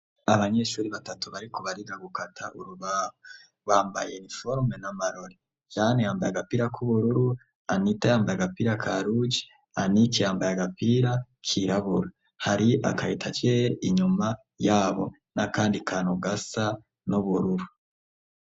Abanyeshure batatu bariko bariga gukata urubabo, bambaye iniforume n'amarori Jean yambaye agapira k'ubururu, Anita yambaye agapira ka ruje Anick yambaye agapira k'irabura, hari aka etajere inyuma yabo n'akandi kantu gasa n'ubururu.